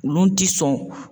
Olu ti sɔn